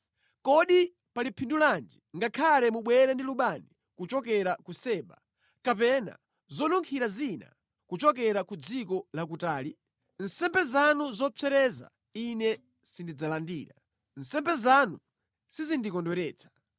Kodi pali phindu lanji ngakhale mubwere ndi lubani kuchokera ku Seba, kapena zonunkhira zina kuchokera ku dziko lakutali? Nsembe zanu zopsereza Ine sindidzalandira; nsembe zanu sizindikondweretsa.”